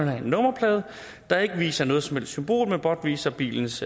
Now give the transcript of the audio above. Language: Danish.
have en nummerplade der ikke viser noget som helst symbol men blot viser bilens